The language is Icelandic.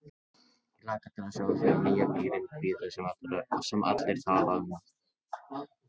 Ég hlakka til að sjá þig og nýja bílinn hvíta sem allir tala um.